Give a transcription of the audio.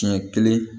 Siɲɛ kelen